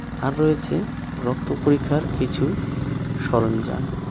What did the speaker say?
আর রয়েছে রক্ত পরীক্ষার কিছু সরঞ্জাম.